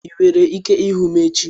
Ị nwere ike ịhụ m echi?